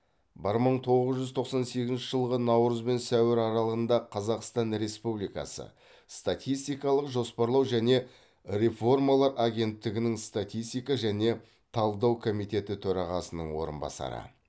бір мың тоғыз жүз тоқсан сегізінші жылғы наурыз бен сәуір аралығында қазақстан республикасы статистикалық жоспарлау және реформалар агенттігінің статистика және талдау комитеті төрағасының орынбасары